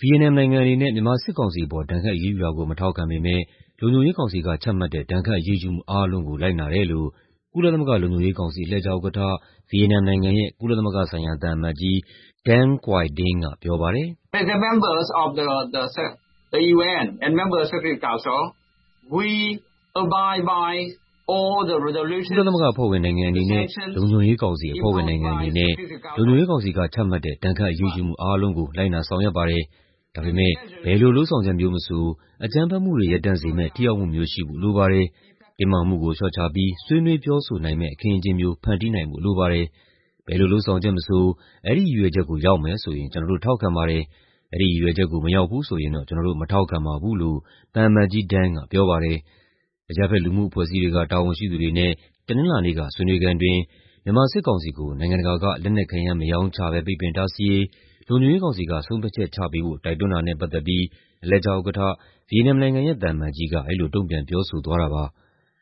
ဗီယက်နမ်နိုင်ငံအနေနဲ့ မြန်မာစစ်ကောင်စီအပေါ် ဒဏ်ခတ်အရေးယူတာကို မထောက်ခံပေမဲ့ လုံခြုံရေးကောင်စီက ချမှတ်တဲ့ ဒဏ်ခတ်အရေးယူမှုအားလုံးကို လိုက်နာတယ်လို့ ကုလသမဂ္ဂလုံခြုံရေးကောင်စီ အလှည့်ကျဥက္ကဋ္ဌ ဗီယက်နမ်နိုင်ငံရဲ့ ကုလသမဂ္ဂဆိုင်ရာသံအမတ်ကြီး Dinh Quy Dang ကပြောပါတယ်။ "ကုလသမဂ္ဂအဖွဲ့ဝင်နိုင်ငံအနေနဲ့ လုံခြုံရေးကောင်စီ အဖွဲ့ဝင်နိုင်ငံအနေနဲ့ လုံခြုံရေးကောင်စီကချမှတ်တဲ့ ဒဏ်ခတ်အရေးယူမှုအားလုံးကို လိုက်နာဆောင်ရွက်ပါတယ်။ ဒါပေမဲ့ ဘယ်လိုလုပ်ဆောင်ချက်မျိုးမဆို အကြမ်းဖက်မှုတွေ ရပ်တန့်စေမယ့် ထိရောက်မှုမျိုးရှိဖို့ လိုပါတယ်။ တင်းမာမှုကို လေ ျှာ့ချပြီး ဆွေးနွေးပြောဆိုနိုင်မယ့် အခင်းအကျဉ်းမျိုး ဖန်တီးနိုင်ဖို့လိုပါတယ်။ ဘယ်လိုလုပ်ဆောင်ချက်မဆို အဲဒီရည်ရွယ်ချက်ကို ရောက်မယ်ဆိုရင် ကျနော်တို့ ထောက်ခံပါတယ်။ အဲဒီရည်ရွယ်ချက်ကို မရောက်ဘူးဆိုရင်တော့ ကျနော်တို့ မထောက်ခံပါဘူး။" လို့ သံအမတ်ကြီး Dang ကပြောပါတယ်။ အရပ်ဘက်လူမှုအဖွဲ့အစည်းတွေက တာဝန်ရှိသူတွေနဲ့ တနင်္လာနေ့က ဆွေးနွေးခန်းအတွင်း မြန်မာစစ်ကောင်စီကို နိုင်ငံတကာက လက်နက်ခဲယမ်း မရောင်းချဘဲ ပိတ်ပင်တားဆီးရေး လုံခြုံရေးကောင်စီက ဆုံးဖြတ်ချက်ချပေးဖို့ တိုက်တွန်းတာနဲ့ ပတ်သက်ပြီး အလှည့်ကျဥက္ကဋ္ဌ ဗီယက်နမ်နိုင်ငံရဲ့ သံအမတ်ကြီးက အဲဒီလို တုံ့ပြန်ပြောဆိုသွားတာပါ။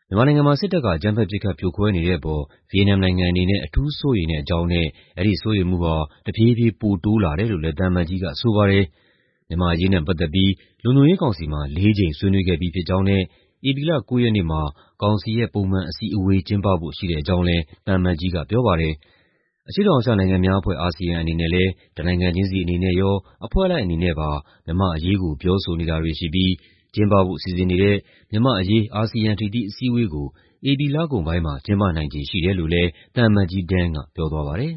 မြန်မာနိုင်ငံမှာ စစ်တပ်က အကြမ်းဖက် ပစ်ခတ်ဖြိုခွဲနေတဲ့အပေါ် ဗီယက်နမ်နိုင်ငံအနေနဲ့ အထူးစိုးရိမ်တဲ့အကြောင်းနဲ့ အဲဒီစိုးရိမ်မှုဟာ တဖြည်းဖြည်း ပိုတိုးလာတယ်လို့လည်း သံအမတ်ကြီးကဆိုပါတယ်။ မြန်မာ့အရေးနဲ့ပတ်သက်ပြီး လုံခြုံရေးကောင်စီမှာ ၄ ကြိမ် ဆွေးနွေးခဲ့ပြီးဖြစ်ကြောင်းနဲ့ ဧပြီလ ၉ ရက်နေ့မှာ ကောင်စီရဲ့ ပုံမှန်အစည်းအဝေး ကျင်းပဖို့ ရှိတဲ့အကြောင်းလည်း သံအမတ်ကြီးကပြောပါတယ်။ အရှေ့တောင်အာရှနိုင်ငံများအဖွဲ့ (ASEAN) အနေနဲ့လည်း တနိုင်ငံချင်းစီအနေနဲ့ရော အဖွဲ့လိုက်အနေနဲ့ပါ မြန်မာ့အရေးကို ပြောဆိုနေတာတွေ ရှိပြီး ကျင်းပဖို့စီစဉ်နေတဲ့ မြန်မာ့အရေး အာဆီယံ ထိပ်သီးအစည်းအဝေးကို ဧပြီလကုန်ပိုင်းမှာ ကျင်းပနိုင်ခြေရှိတယ်လို့လည်း သံအမတ်ကြီး Dang က ပြောသွားပါတယ်